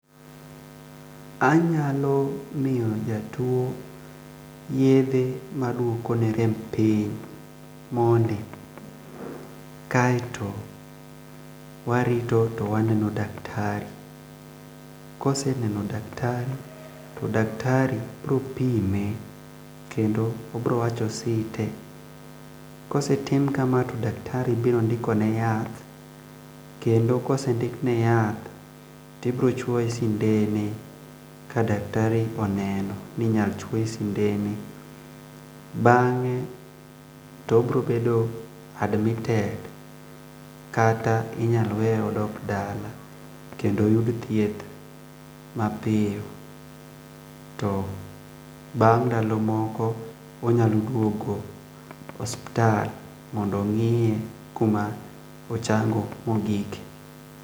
Anyalo mIyo jatuo yedhe maduokone rem piny mondi kaeto warito to waneno daktari. Ka oseneno daktari to daktari biro pime kendo obiro wacho site, kosetim kamano to daktari biro ndikone yath, kendo ka osendikne yath to ibiro chuoye sndene ka daktari oneno ni inyalo chuoye sindene. Bang'e to obiro bedo dmitted kata inyalo weye aweya odog dala kendo oyud thieth mapiyo to bang' ndalo moko onyalo duogo osiptal mondo ng'iye kuma ochango mogikie.